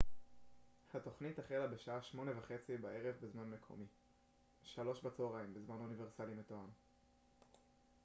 התוכנית החלה בשעה 20:30 בזמן מקומי 15:00 בזמן אוניברסלי מתואם